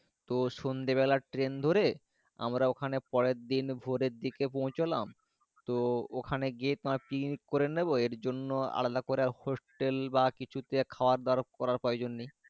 তো সন্ধে বেলা train ধরে আমরা ওখানে পরে দিন ভরেদিকে পৌছালাম তো ওখানে গিয়ে তোমার clinic করে নিবো এর জন্য আলাদা করে hotel বা কিছু কিনে খাবার দাবার করার প্রয়োজন নাই।